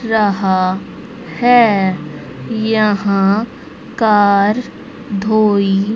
रहा है यहां कार धोई--